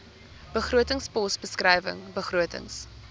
begrotingspos beskrywing begrotings